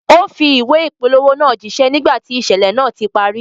Ó fi ìwé ìpolówó náà jíṣẹ́ nígbà tí ìṣẹ̀lẹ̀ náà ti parí